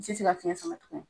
N ti se ka fiɲɛ sama tugu.